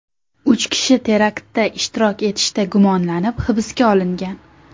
Uch kishi teraktda ishtirok etishda gumonlanib hibsga olingan .